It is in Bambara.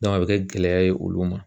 a bɛ kɛ gɛlɛya ye olu ma